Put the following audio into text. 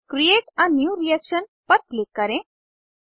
create a new reaction पर click करें